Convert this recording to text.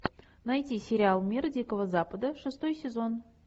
найти сериал мир дикого запада шестой сезон